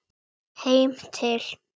Heim til